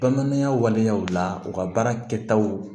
Bamananya waleyaw la u ka baara kɛtaw